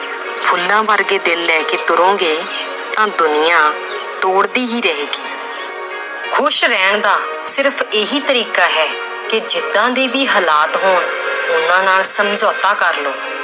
ਫੁੱਲਾਂ ਵਰਗੇ ਦਿਲ ਲੈ ਕੇ ਤੁਰੋਂਗੇ ਤਾਂ ਦੁਨੀਆਂ ਤੋੜਦੀ ਹੀ ਰਹੇਗੀ ਖ਼ੁਸ਼ ਰਹਿਣ ਦਾ ਸਿਰਫ਼ ਇਹੀ ਤਰੀਕਾ ਹੈ ਕਿ ਜਿੱਦਾਂ ਦੇ ਵੀ ਹਾਲਾਤ ਹੋਣ ਉਹਨਾਂ ਨਾਲ ਸਮਝੋਤਾ ਕਰ ਲਵੋ